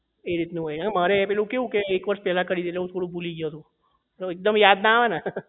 એ રીતનું હોય મારે પેલું કેવું કે એક વર્ષ પહેલા કરેલું એટલે હું ભૂલી ગયો હતો તો એક દમ યાદ ના આવે ને